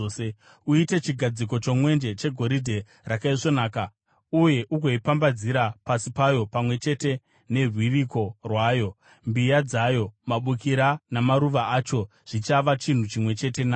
“Uite chigadziko chomwenje chegoridhe rakaisvonaka uye ugoipambadzira pasi payo pamwe chete nerwiriko rwayo; mbiya dzayo, mabukira namaruva acho zvichava chinhu chimwe chete nacho.